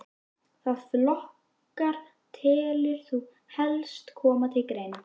Hvaða flokkar telur þú helst koma til greina?